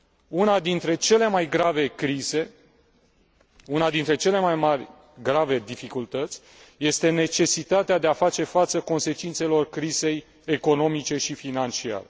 Una dintre cele mai grave crize, una dintre cele mai mari dificultăți este necesitatea de a face față consecințelor crizei economice și financiare.